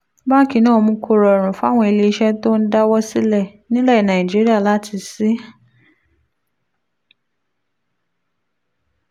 báńkì náà mú kó rọrùn fáwọn ilé iṣẹ́ tó ń dáwọ́ sílẹ̀ nílẹ̀ nàìjíríà láti ṣí